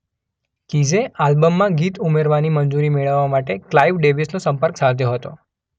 કીઝે આલ્બમમાં ગીત ઉમેરવાની મંજૂરી મેળવવા માટે ક્લાઇવ ડેવિસનો સંપર્ક સાધ્યો હતો.